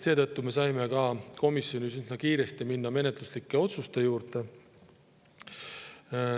Seetõttu me saime minna komisjonis üsna kiiresti menetluslike otsuste juurde.